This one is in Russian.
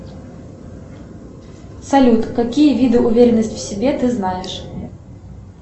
салют какие виды уверенности в себе ты знаешь